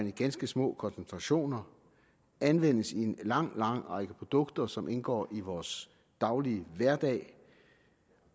i ganske små koncentrationer og anvendes i en lang lang række produkter som indgår i vores hverdag